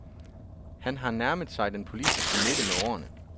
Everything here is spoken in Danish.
Han har nærmet sig den politiske midte med årene.